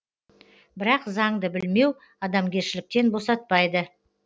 бірақ заңды білмеу адамгершіліктен босатпайды